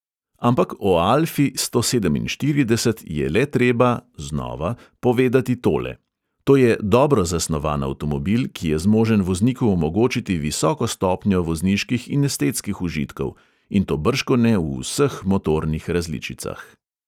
Ampak o alfi sto sedeminštirideset je le treba povedati tole: to je dobro zasnovan avtomobil, ki je zmožen vozniku omogočiti visoko stopnjo vozniških in estetskih užitkov, in to bržkone v vseh motornih različicah.